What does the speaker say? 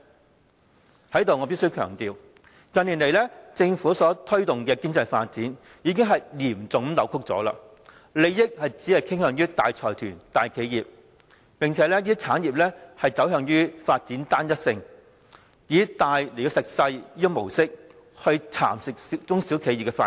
在這裏我必須強調，近年來政府所推動的經濟發展，已是嚴重扭曲的，利益只向大財團、大企業傾斜，兼且這些產業發展趨向單一性，以大吃小的模式，蠶食中小企的發展。